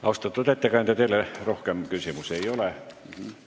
Austatud ettekandja, teile rohkem küsimusi ei ole.